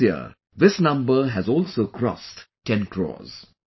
This year this number has also crossed 10 crores